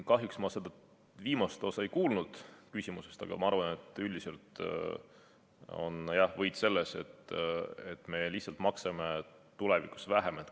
Kahjuks ma seda viimast osa küsimusest ei kuulnud, aga ma arvan, et üldiselt on võit selles, et me lihtsalt maksame tulevikus vähem.